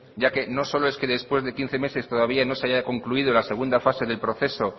ya que no es solo que después de quince meses todavía no se haya concluido la segunda fase del proceso